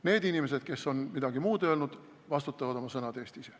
Need inimesed, kes on midagi muud öelnud, vastutavad oma sõnade eest ise.